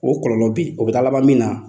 O kɔlɔlɔ beyi o bɛ taa laban min na